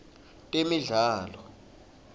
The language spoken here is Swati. temidlalo